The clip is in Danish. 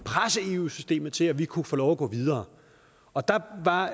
presse eu systemet til at vi kunne få lov at gå videre og der var